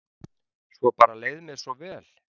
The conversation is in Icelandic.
Svo bara leið mér svo vel.